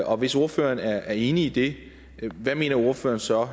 og hvis ordføreren er enig i det hvad mener ordføreren så